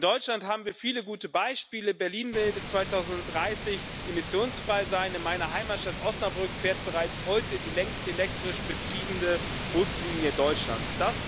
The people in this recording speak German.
In Deutschland haben wir viele gute Beispiele Berlin will bis 2030 emissionsfrei sein, in meiner Heimatstadt Osnabrück fährt bereits heute die längste elektrisch betriebene Buslinie Deutschlands.